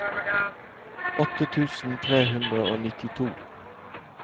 åtte tusen tre hundre og nittito